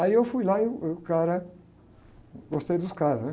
Aí eu fui lá e o, e o cara... Gostei dos caras, né?